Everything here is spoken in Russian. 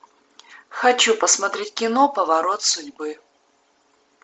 хочу посмотреть кино поворот судьбы